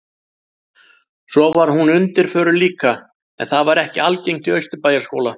Svo var hún undirförul líka, en það var ekki algengt í Austurbæjarskóla.